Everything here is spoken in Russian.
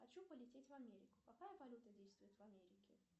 хочу полететь в америку какая валюта действует в америке